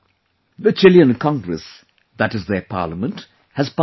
The Chilean Congress, that is their Parliament, has passed a proposal